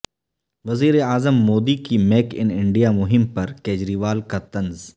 وزیر اعظم مودی کی میک ان انڈیا مہم پر کجریوال کا طنز